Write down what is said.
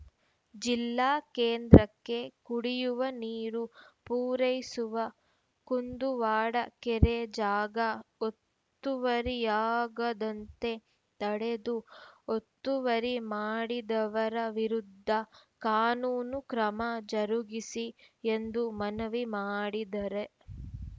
ಜಿಲ್ಲಾ ಕೇಂದ್ರಕ್ಕೆ ಕುಡಿಯುವ ನೀರು ಪೂರೈಸುವ ಕುಂದುವಾಡ ಕೆರೆ ಜಾಗ ಒತ್ತುವರಿಯಾಗದಂತೆ ತಡೆದು ಒತ್ತುವರಿ ಮಾಡಿದವರ ವಿರುದ್ಧ ಕಾನೂನು ಕ್ರಮ ಜರುಗಿಸಿ ಎಂದು ಮನವಿ ಮಾಡಿದರೆ